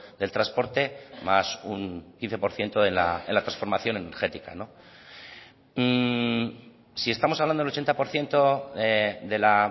del transporte más un quince por ciento de la transformación energética si estamos hablando del ochenta por ciento de la